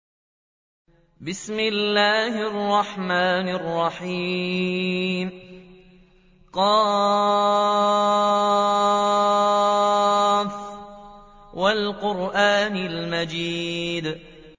ق ۚ وَالْقُرْآنِ الْمَجِيدِ